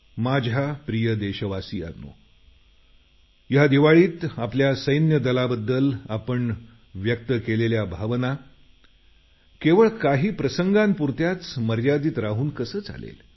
माझ्या प्रिय देशवासियांनो या दिवाळीत आपल्या सैन्य दलाबद्दल आपण व्यक्त केलेल्या भावना केवळ काही प्रसंगांपुरत्याच मर्यादित राहून कशा चालतील